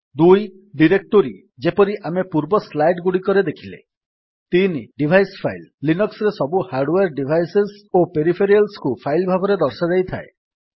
2 directory ଯେପରି ଆମେ ପୂର୍ବ ସ୍ଲାଇଡ୍ ଗୁଡ଼ିକରେ ଦେଖିଲେ 3 ଡିଭାଇସ୍ ଫାଇଲ୍ ଲିନକ୍ସ୍ ରେ ସବୁ ହାର୍ଡୱେର୍ ଡିଭାଇସେସ୍ ଓ ପେରିଫେରାଲ୍ସକୁ ଫାଇଲ୍ ଭାବରେ ଦର୍ଶାଯାଇଥାଏ